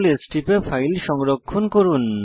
CtrlS টিপে file সংরক্ষণ করুন